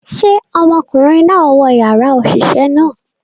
Ṣe ọmọkunrin naa wọ yara oṣiṣẹ naa?